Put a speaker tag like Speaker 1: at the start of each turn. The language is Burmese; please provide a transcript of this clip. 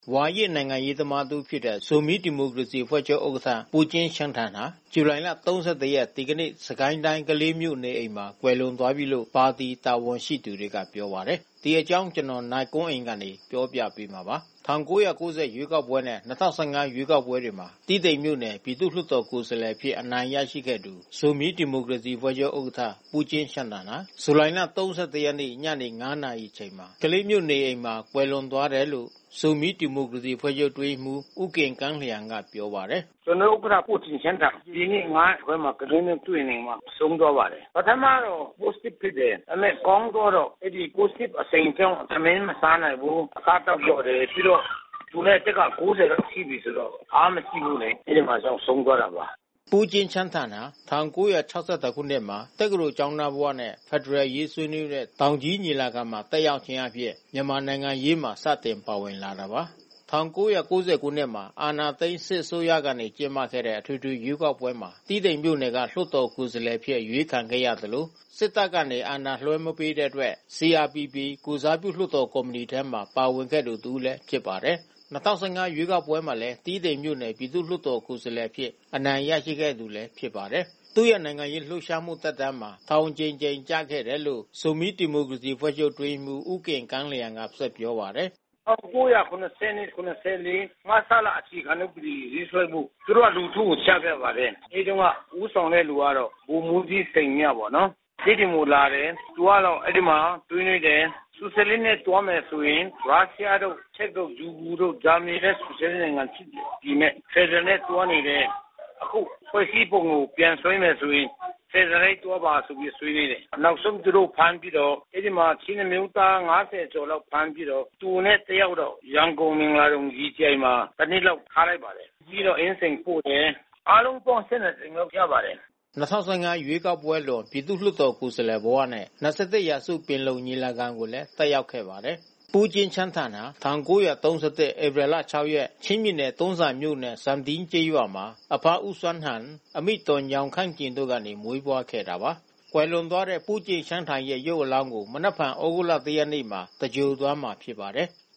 Speaker 1: ဝါရင့်နိုင်ငံရေးသမားတဦးဖြစ်တဲ့ ဇိုမီးဒီမိုကရေစီအဖွဲ့ချုပ်ဥက္ကဋ္ဌ ပူကျင့်ရှန်းထန်ဟာ ဇူလိုင်လ (၃၁) ရက်၊ ဒီကနေ့ စစ်ကိုင်းတိုင်း ကလေးမြို့နေအိမ်မှာကွယ်လွန်သွားပြီးလို့ ပါတီတာဝန်ရှိသူတွေကပြောပါတယ်။ ဒီအကြောင်း ဗွီအိုအေသတင်းထောက် နိုင်ကွန်းအိန်က သတင်းပေးပို့ထားပါတယ်။ ၁၉၉၀ ရွေးကောက်ပွဲနဲ့ ၂၀၁၅ ရွေးကောက်ပွဲတွေမှာ တီးတိန်မြို့နယ်၊ ပြည်သူ့လွှတ်တော်ကိုယ်စားလှယ်အဖြစ် အနိုင်ရခဲ့သူ ဇိုမီးဒီမိုကရေစီအဖွဲ့ချုပ်ဥက္ကဋ္ဌ ပူးကျင်ရှန်းထန်ဟာ ဇူလိုင် (၃၁) ရက်နေ့ ညနေ (၅) နာရီမှာ ကလေးမြို့နေအိမ်မှာ ကွယ်လွန်သွားတယ်လို့ ဇိုမီးဒီမိုကရေစီအဖွဲ့ချုပ် အတွင်းရေးမှူး ဦးဂင်ကန်းလျံကပြောပါတယ်။ “ကျနော်တို့ဥက္ကဋ္ဌ ပူကျင့်ရှန်းထန် ဒီန
Speaker 2: ေ့ (၅) နာရီခွဲမှာ ကလေးမြို့သူ့နေအိမ်မှာ ဆုံးသွားပါတယ်။ ပထမတော့ ကိုဗစ်ဖြစ်တယ်။ ဒါနဲ့ ကောင်းသွားတော့ အဲဒီကိုဗစ်အရှိန်ကြောင့် ထမင်းမစားနိုင်ဘူး။ အစား အသောက်လျော့တယ်။ ပြီးတော့ သူရဲ့အသက်က (၉၀) လောက်ရှိပြီဆိုတော့ အားမရှိဘူးလေ။ အဲဒါကြောင့် ဆုံးသွားတာပါ။”
Speaker 1: ပူကျင့်ရှန်းထန်ဟာ ၁၉၆၁ ခုနှစ်မှာ တက္ကသိုလ်ကျောင်းသားဘဝနဲ့ ဖက်ဒရယ်အရေးဆွေးနွေးတဲ့ တောင်ကြီး ညီလာခံမှာ တက်ရောက်ခြင်းဖြင့် မြန်မာ့နိုင်ငံရေးတွင်စတင်ပါဝင်လာတာပါ။ ၁၉၉၀ ခုနှစ်မှာ အာဏာသိမ်းစစ်အစိုးရကကျင်းပတဲ့ အထွေထွေရွေးကောက်ပွဲမှာ တီးတိန်မြို့နယ် လွှတ်တော်ကိုယ်စားလှယ်အဖြစ် အရွေးခံခဲ့ရသလို စစ်တပ်ကအာဏာလွှဲမပေးတဲ့အတွက် CRPP လွှတ်တော်ကိုယ်စားပြုကော်မီတီထဲမှာ ပါဝင်ခဲ့သူ တဦးလည်းဖြစ်ပါတယ်။ ၂၀၁၅ ရွေးကောက်ပွဲမှာလည်း တီးတိန်မြို့နယ်၊ ပြည်သူ့လွှတ်တော်ကိုယ်စားလှယ်အဖြစ် အနိုင်ရခဲ့သူလည်း ဖြစ်ပါတယ်။ သူရဲ့နိုင်ငံရေးလှုပ်ရှားမှုသက်တမ်းမှာ ထောင်အကြိမ်ကြိမ်ကျခဲ့တယ်လို့လည်း ဇိုမီးဒီမိုကရေစီအဖွဲ့ချုပ်အတွင်းရေးမှူး ဦးဂင်ကန်းလျံက ပြောပါတယ်။
Speaker 2: “၁၉၇၂-၇၄ မဆလအခြေခံဥပဒေကိုရေးဆွဲဖို့ သူတို့က လူထုကိုချပြပါတယ်။ အဲဒီတုန်းက ဦးဆောင်တဲ့သူက ဗိုလ်မှူးကြီးစိန်မြပေါ့နော်။ တီးတိန်ကိုလာတယ်။ သူကတော့အဲဒီမှာဆွေးနွေးတယ်။ ဆိုရှယ်လစ်နဲ့ သွားမယ်ဆိုရင် ရုရှားတို့၊ ချက်တို့၊ ယူဂိုတို့၊ ဂျာမနီတို့၊ ဆိုရှယ်လစ်နိုင်ငံတွေနဲ့ ဖက်ဒရယ်နဲ့သွားနေတယ်။ ဖွဲ့စည်းပုံကိုပြန်ဆွဲမယ်ဆိုရင် ဖက်ဒရယ်နဲ့သွားပါဆိုပြီး ဆွေးနွေးတယ်။ နောက်ဆုံး သူတို့ကိုဖမ်းပြီးတော့ အဲဒီမှာချင်းအမျိုးသား (၅၀) ကျော်လောက်ဖမ်းပြီးတော့ သူနဲ့တယောက်တော့ ရန်ကုန်မင်္ဂလာဒုံ ရေကြည်အိုင်မှာ တနှစ်လောက်ထားလိုက်ပါတယ်။ ပြီးတော့အင်းစိန်ပို့တယ်။ အားလုံးပေါင်း (၁၂) ကြိမ်လောက်ကျပါတယ်။”
Speaker 1: ၂၀၁၅ ရွေးကောက်ပွဲအလွန် ပြည်သူ့လွှတ်တော်ကိုယ်စားလှယ်ဘဝနဲ့ ၂၁ ရာစုပင်လုံညီလာခံကိုလည်း တက်ရောက်ခဲ့ပါတယ်။ ပူကျင့်ရှန်းထန်ကို ၁၉၃၁ ဧပြီလ(၆)ရက် ချင်းပြည်နယ်တွန်းဇံမြို့နယ် ဇမ်တီးကျေးရွာမှာ အဘဦးစွမ်းဟန် အမိဒေါ်ညောင်ခန့်ကျင်တို့ကနေမွေးဖွားခဲ့တာပါ။ ကွယ်လွန်သွားတဲ့ ပူကျင့်ရှန်းထန်ရဲ့ရုပ်အလောင်းကို မနက်ဖြန်သြဂုတ်လ (၁) ရက်နေ့မှာ သင်္ဂြိုဟ်သွားမှာဖြစ်ပါတယ်။